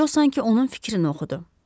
Co sanki onun fikrini oxudu.